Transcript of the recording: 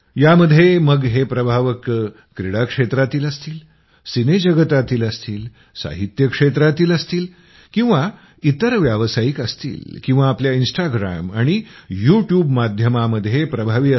यामध्ये मग हे प्रभावक क्रीडा क्षेत्रातील असतील सिने जगतातील असतील साहित्य क्षेत्रातील असतील किंवा इतर व्यावसायिक असतील किंवा आपल्या इन्स्टाग्रॅम आणि यूट्यूब माध्यमामध्ये प्रभावी